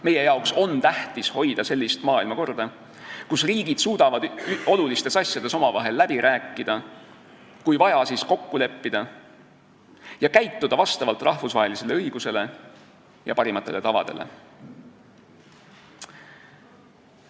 Meile on tähtis hoida sellist maailmakorda, kus riigid suudavad olulistes asjades omavahel läbi rääkida ja kui vaja, siis kokku leppida ning käituda vastavalt rahvusvahelisele õigusele ja parimatele tavadele.